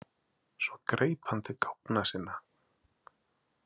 Svo greip hann til gáfna sinna.